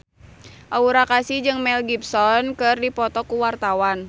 Aura Kasih jeung Mel Gibson keur dipoto ku wartawan